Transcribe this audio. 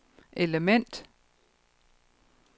element